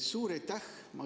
Suur aitäh!